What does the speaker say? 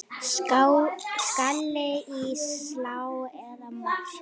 Skalli í slá eða mark?